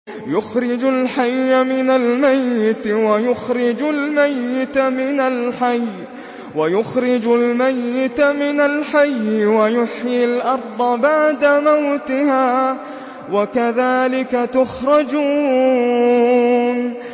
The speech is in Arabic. يُخْرِجُ الْحَيَّ مِنَ الْمَيِّتِ وَيُخْرِجُ الْمَيِّتَ مِنَ الْحَيِّ وَيُحْيِي الْأَرْضَ بَعْدَ مَوْتِهَا ۚ وَكَذَٰلِكَ تُخْرَجُونَ